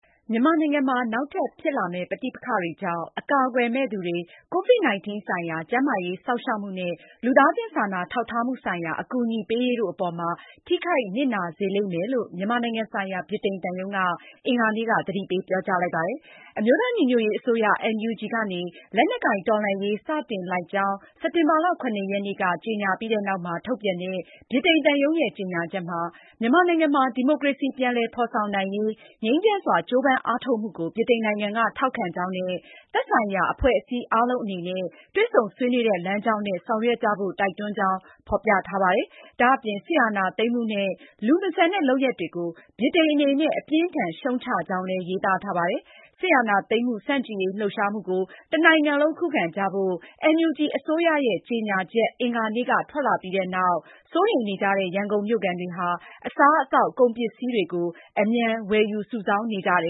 မြန်မာနိုင်ငံမှာ နောက်ထပ်ဖြစ်လာမယ့်ပဋိပက္ခတွေကြောင့် အကာအကွယ်မဲ့သူတွေ၊ ကိုဗစ်-၁၉ ဆိုင်ရာကျန်းမာရေးစောင့်ရှောက်မှုနဲ့ လူသားချင်းစာနာထောက်ထားမှုဆိုင်ရာ အကူအညီပေးရေးတို့အပေါ်မှာ ထိခိုက်နစ်နာစေလိမ့်မယ်လို့ မြန်မာနိုင်ငံဆိုင်ရာ ဗြိတိန်သံရုံးက အင်္ဂါနေ့က သတိပေးပြောကြားလိုက်ပါတယ်။ အမျိုးသားညီညွတ်ရေးအစိုးရ NUG ကနေ လက်နက်ကိုင်တော်လှန်ရေးစတင်လိုက်ကြောင်း စက်တင်ဘာလ (၇)ရက်နေ့က ကြေညာပြီးနောက် ထုတ်ပြန်တဲ့ ဗြိတိန်သံရုံးရဲ့ကြေညာချက်မှာ မြန်မာနိုင်ငံမှာ ဒီမိုကရေစီပြန်လည်ဖေါ်ဆောင်နိုင်ရေး ငြိမ်းချမ်းစွာ ကြိုးပမ်းအားထုတ်မှုကို ဗြိတိန်နိုင်ငံက ထောက်ခံကြောင်းနဲ့ သက်ဆိုင်ရာအဖွဲ့အစည်းအားလုံးအနေနဲ့ တွေ့ဆုံဆွေးနွေးတဲ့လမ်းကြောင်းနဲ့ ဆောင်ရွက်ကြဖို့ တိုက်တွန်းကြောင်း ဖေါ်ပြထားပါတယ်။ ဒါအပြင် စစ်အာဏာသိမ်းမှုနဲ့ လူမဆန်တဲ့ လုပ်ရပ်တွေကို ဗြိတိန်အနေနဲ့ အပြင်းအထန်ရှုတ်ချကြောင်းလည်း ရေးသားထားပါတယ်။ စစ်အာဏာသိမ်းမှုဆန့်ကျင်ရေးလှုပ်ရှားမှုကို တနိုင်ငံလုံးခုခံကြဖို့ NUG အစိုးရရဲ့ ကြေညာချက် အင်္ဂါနေ့က ထွက်လာပြီးနောက် စိုးရိမ်နေကြတဲ့ ရန်ကုန်မြို့ခံတွေဟာ အစားအသောက်၊ ကုန်ပစ္စည်းတွေကို အမြန်ဝယ်ယူစုဆောင်းနေကြပါတယ